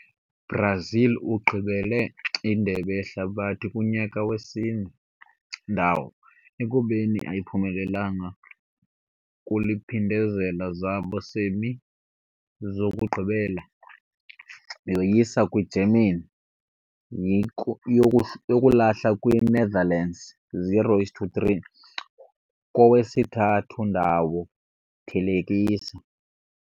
Brazil ugqibelele Indebe Yehlabathi kunyaka wesine ndawo, ekubeni ayiphumelelanga kuliphindezela zabo semi zokugqibela yoyisa kwi-Germany yi-yokulahla kwi-Netherlands 0-3 kowesithathu-ndawo thelekisa.